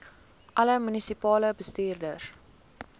alle munisipale bestuurders